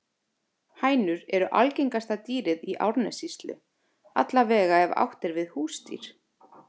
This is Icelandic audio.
Hænur eru algengasta dýrið í Árnessýslu, alla vega ef átt er við húsdýr.